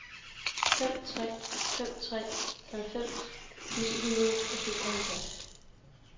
fem tre fem tre halvfems ni hundrede og syvoghalvfjerds